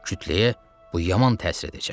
Kütləyə bu yaman təsir edəcək.